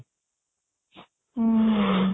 ହୁଁ